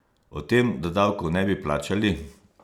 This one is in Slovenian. O tem, da davkov ne bi plačali?